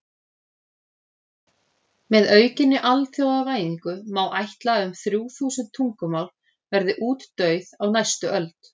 Með aukinni alþjóðavæðingu má ætla að um þrjú þúsund tungumál verði útdauð á næstu öld.